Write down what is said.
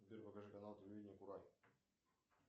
сбер покажи канал телевидения курай